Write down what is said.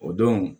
O don